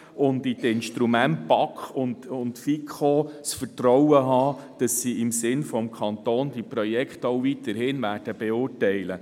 Wir müssen in die BaK und die FiKo vertrauen, dass diese die Projekte auch in Zukunft im Sinne des Kantons beurteilen.